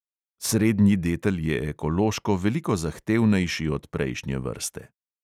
Srednji detel je ekološko veliko zahtevnejši od prejšnje vrste.